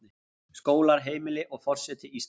Skólar, heimili, og forseti Íslands.